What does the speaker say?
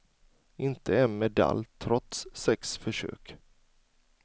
Inte en medalj trots sex försök.